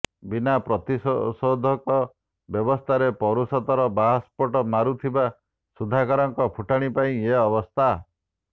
ବିନା ପ୍ରତିଷେଧକ ବ୍ୟବସ୍ଥାରେ ପୌରୁଷତ୍ୱର ବାହାସ୍ଫୋଟ ମାରୁଥିବା ସୁଧାକରଙ୍କ ଫୁଟାଣି ପାଇଁ ଏ ଅବସ୍ଥା